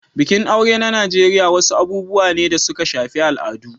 Bikin aure a Najeriya wasu abubuwa ne da suka shafi al'adu.